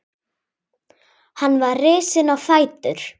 Hann var risinn á fætur.